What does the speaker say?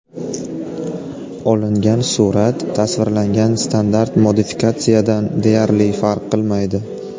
Olingan surat tasvirlangan standart modifikatsiyadan deyarli farq qilmaydi.